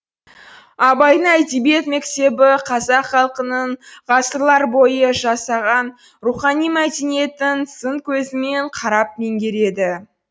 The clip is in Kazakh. абайдың әдебиет мектебі қазақ халқының ғасырлар бойы жасаған рухани мәдениетін сын көзімен қарап меңгереді